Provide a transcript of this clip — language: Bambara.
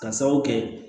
Ka sababu kɛ